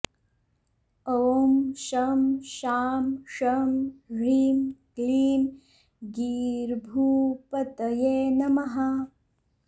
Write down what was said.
ॐ शं शां षं ह्रीं क्लीं गीर्भूपतये नमः